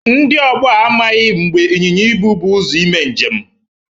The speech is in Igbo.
Ndị ọgbọ a amaghị mgbe ịnyịnya ibụ bụ ụzọ ime njem.